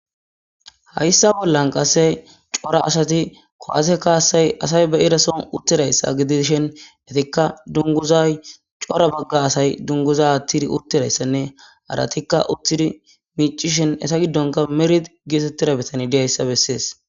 Hayissa bollanni qase cora asati kuwase kasayi asayi be'iza sohonni uttidayissa ettikka duniguzayi cora baga asayi duniguza aththidi uttidayissanne haratikka uttidi miccishshin Etta giddonni merit getettiza bitaneyi des.